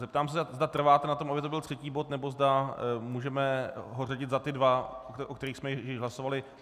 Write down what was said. Zeptám se, zda trváte na tom, aby to byl třetí bod, nebo zda můžeme ho řadit za ty dva, o kterých jsme již hlasovali.